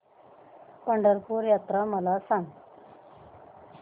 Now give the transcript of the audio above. पंढरपूर यात्रा मला सांग